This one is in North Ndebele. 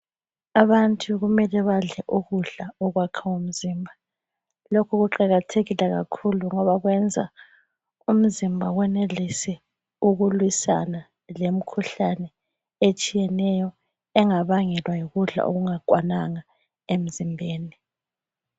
Abantu kumele badle ukudla okuyakha umzimba. Lokhu kuqakathekile kakhulu ngoba kwenza umzimba uwenelise ukulwisana lemikhuhlane etshiyeneyo engabangelwa yikudla okungakwananga emzimbeni.